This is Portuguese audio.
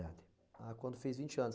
Ah, quando fez vinte anos.